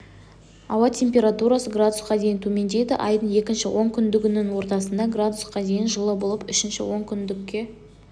ауа температурасы градусқа дейін төмендейді айдың екінші онкүндігінің ортасында градусқа дейін жылы болып үшінші онкүндікке